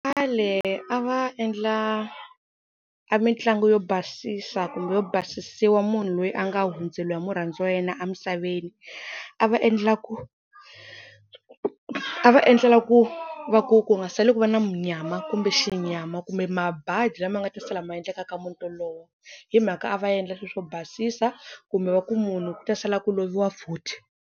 Khale a va endla a mitlangu yo basisa kumbe yo basisiwa munhu loyi a nga hundzeliwa hi murhandziwa wa yena emisaveni. A va endla ku a va endlela ku va ku ku nga sali ku va na munyama kumbe xinyama kumbe mabadi lama nga ta sala ma endleka ka muti wolowo, hi mhaka a va endla sweswo basisa kumbe va ku munhu ku ta sala ku loviwa futhi.